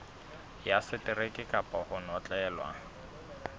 ya seteraeke kapa ho notlellwa